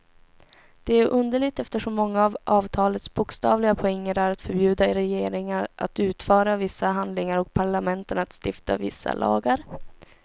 Det är underligt eftersom många av avtalets bokstavliga poänger är att förbjuda regeringarna att utföra vissa handlingar och parlamenten att stifta vissa lagar.